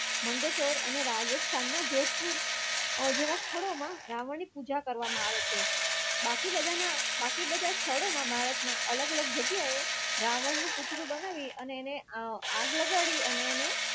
મંડેસ્ટર રાજસ્થાનના જોધપુર જેવા સ્થળો મા રાવણની પૂજા કરવામાં આવે છે. બાકી બધા ના બાકી બધા સ્થળો મા ભારતમાં અલગ-અલગ જગ્યાએ રાવણ નું પુતળું બનાવી અને એને અ આગ લગાડી અને એને